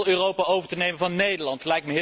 Die lijkt heel Europa over te nemen van Nederland.